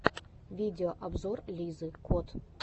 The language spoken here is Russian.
видеообзор лизы кот